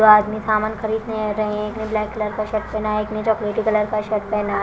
दो आदमी सामान खरीदने रहे हैं। एक ने ब्लैक कलर का शर्ट पहना है। एक ने चॉकलेटी कलर का शर्ट पहना है।